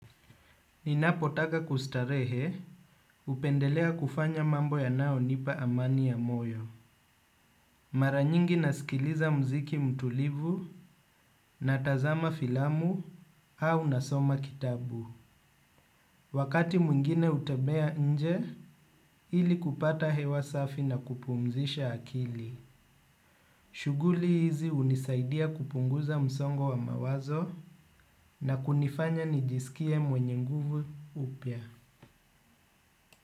Ninapotaka kustarehe, hupendelea kufanya mambo yanayonipa amani ya moyo. Mara nyingi nasikiliza mziki mtulivu, natazama filamu, au nasoma kitabu. Wakati mwingine hutembea nje, ili kupata hewa safi na kupumzisha akili. Shughuli hizi hunisaidia kupunguza msongo wa mawazo na kunifanya nijiskie mwenye nguvu upya.